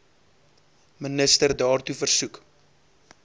minister daartoe versoek